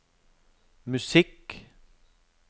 musikk